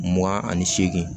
Mugan ani seegin